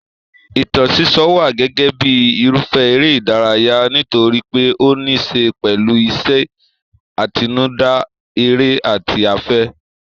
Ìtàn sísọ wà gẹ́gẹ́ bíi irúfẹ́ eré ìdárayá nítorí pé ó níí ṣe pẹ̀lú ìṣe àtinúdá, èrò àti afẹ́.